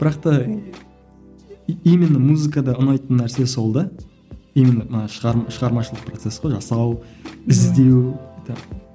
бірақ та именно музыкада ұнайтын нәрсе сол да именно мына шығармашылық процесс қой жасау іздеу